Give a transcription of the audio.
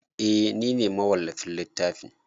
Eh nine mawallafin littafin